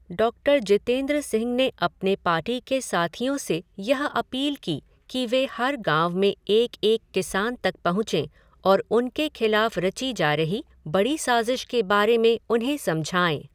Doctor Jitendra Singh ने अपने party के साथियों से यह अपील की कि वे हर गांव में एक एक किसान तक पहुँचें और उनके खिलाफ़ रची जा रही बड़ी साजिश के बारे में उन्हें समझाएँ।